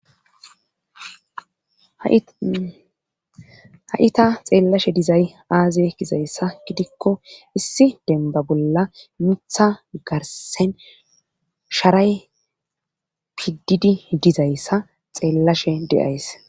ha7ita xeellashe dizay aaziye gizayssa gidikko issi denba bolla mitha garsen sharay pididi dizayssa xeellashe deyays